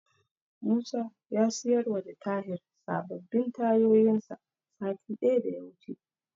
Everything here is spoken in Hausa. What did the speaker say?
Musa ya siyarwa da Tahir sababbin tayoyinsa satin da ya wuce.